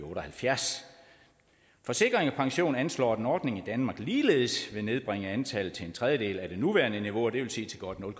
otte og halvfjerds forsikring pension anslår at en ordning i danmark ligeledes vil nedbringe antallet til en tredjedel af det nuværende niveau og det vil sige til godt nul